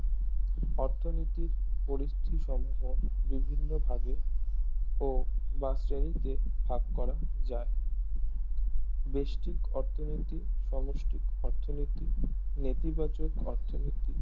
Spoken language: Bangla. অর্থনীতির পরিস্থিতি সম্মোহ বিভিন্ন ভাগে ও বা শ্রেণীতে ভাগকরা যায় বেস্টিক অর্থনীতি সমষ্টিক অর্থনীতি নীতিবাচক অর্থনীতি